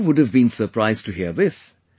You too would have been surprised to hear this